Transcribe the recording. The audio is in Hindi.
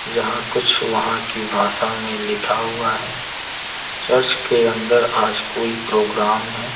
जहां कुछ वहां की भाषा में लिखा हुआ है चर्च के अंदर आज कोई प्रोग्राम है।